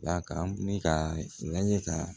D'a kan ne k'a lajɛ ka